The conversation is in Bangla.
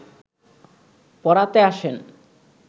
পড়াতে আসেন